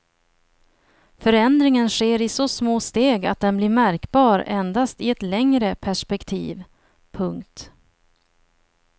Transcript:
Förändringen sker i så små steg att den blir märkbar endast i ett längre perspektiv. punkt